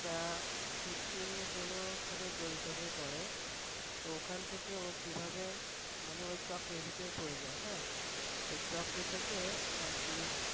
তা Fixing এর জন্য ওর সাথে জড়িত হয়ে পরে। তো ওখান থেকে ও কিভাবে মানে ওই চক্রের ভিতরে পরে যায় হ্যাঁ। ওই চক্র থেকে আর কি